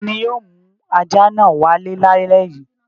Ta ni yóò mú ajá náà wálé lálẹ́ yìí?